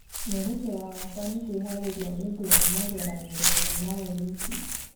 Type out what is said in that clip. mwerekero wakwa nĩ kwĩharĩria nĩũndũ wa magera gererio ma Olympics